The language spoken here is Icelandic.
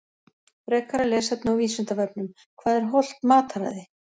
Frekara lesefni á Vísindavefnum Hvað er hollt mataræði?